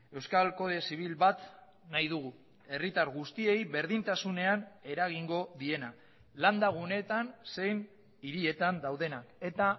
euskal kode zibil bat nahi dugu herritar guztiei berdintasunean eragingo diena landa guneetan zein hirietan daudenak eta